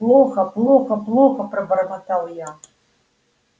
плохо плохо плохо пробормотал я